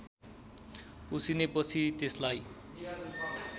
उसिनेपछि त्यसलाई